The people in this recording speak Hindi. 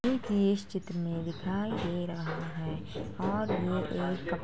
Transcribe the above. इस चित्र में दिखाई दे रहा है और यह एक --